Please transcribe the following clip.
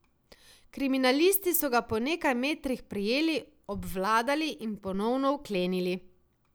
Kriminalisti so ga po nekaj metrih prijeli, obvladali in ponovno vklenili.